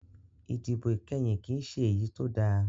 Ìdìbò ìkẹyìn kìí ṣe èyí tó da